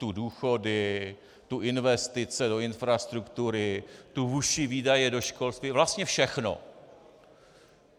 Tu důchody, tu investice do infrastruktury, tu vyšší výdaje do školství, vlastně všechno.